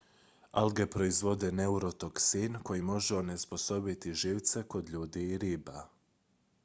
alge proizvode neurotoksin koji može onesposobiti živce kod ljudi i riba